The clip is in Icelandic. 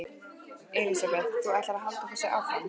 Elísabet: Þú ætlar að halda þessu áfram?